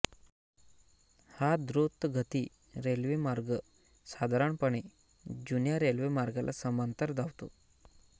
हा द्रुतगती रेल्वेमार्ग साधारणपणे जुन्या रेल्वेमार्गाला समांतर धावतो